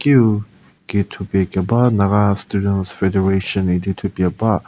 kiu kithupie keba naga students federation idi thupie ba.